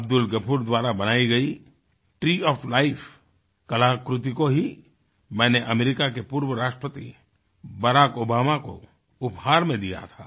अब्दुल गफूर द्वारा बनाई गई ट्री ओएफ लाइफ कलाकृति को ही मैंने अमेरिका के पूर्व राष्ट्रपति बराक ओबामा को उपहार में दिया था